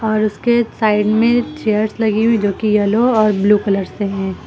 और उसके साइड में चेयर्स लगी हुई जो की येलो और ब्लू कलर से है।